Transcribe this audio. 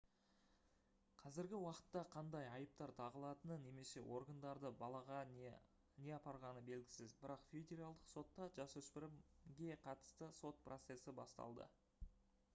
қазіргі уақытта қандай айыптар тағылатыны немесе органдарды балаға не апарғаны белгісіз бірақ федералдық сотта жасөспірімге қатысты сот процесі басталды